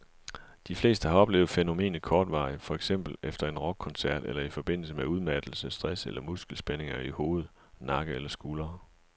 De fleste har oplevet fænomenet kortvarigt, for eksempel efter en rockkoncert eller i forbindelse med udmattelse, stress eller muskelspændinger i hoved, nakke eller skuldre.